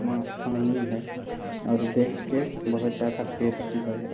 में पानी है और देख के बहुत ज्‍यादा टेस्‍टी लग रहा ।